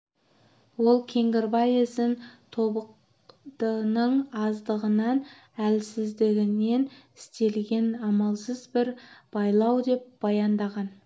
ол кеңгірбай ісін тобықтының аздығынан әлсіздігінен істелген амалсыз бір байлау деп баяндаған